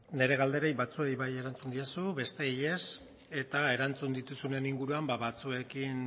nire galderei batzuei bai erantzun diezu bestei ez eta erantzun dituzunen inguruan batzuekin